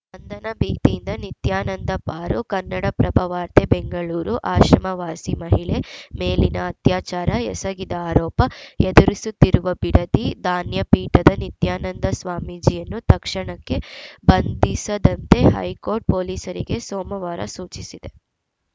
ಬಂಧನ ಭೀತಿಯಿಂದ ನಿತ್ಯಾನಂದ ಪಾರು ಕನ್ನಡಪ್ರಭ ವಾರ್ತೆ ಬೆಂಗಳೂರು ಆಶ್ರಮವಾಸಿ ಮಹಿಳೆ ಮೇಲಿನ ಅತ್ಯಾಚಾರ ಎಸಗಿದ ಆರೋಪ ಎದುರಿಸುತ್ತಿರುವ ಬಿಡದಿ ಧಾನ್ಯ ಪೀಠದ ನಿತ್ಯಾನಂದ ಸ್ವಾಮೀಜಿಯನ್ನು ತಕ್ಷಣಕ್ಕೆ ಬಂಧಿಸದಂತೆ ಹೈಕೋರ್ಟ್‌ ಪೊಲೀಸರಿಗೆ ಸೋಮವಾರ ಸೂಚಿಸಿದೆ